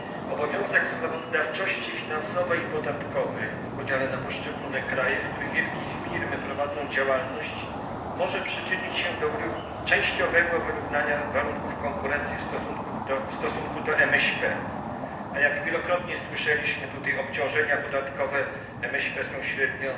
Obowiązek sprawozdawczości finansowej i podatkowej w podziale na poszczególne kraje, w których wielkie firmy prowadzą działalność, może przyczynić się do częściowego wyrównania warunków konkurencji w stosunku do MŚP, a jak wielokrotnie tutaj słyszeliśmy obciążenia podatkowe MŚP są średnio